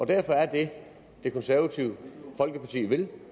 derfor er det det konservative folkeparti vil